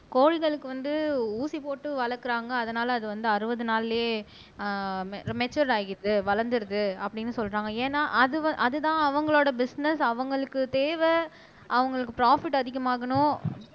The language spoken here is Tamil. கோழிகளுக்கு வந்து ஊசி போட்டு வளக்குறாங்க அதனால அது வந்து அறுபது நாள்லயே ஆஹ் மெச்சூர் ஆயிடுது வளர்ந்துருது அப்படின்னு சொல்றாங்க ஏன்னா அதுஅதுதான் அவங்களோட பிஸ்னஸ் அவங்களுக்கு தேவை அவங்களுக்கு ப்ராபிட் அதிகமாகணும்